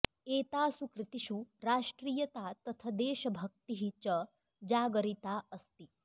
एतासु कृतिषु राष्ट्रियता तथ देशभक्तिः च जागरिता अस्ति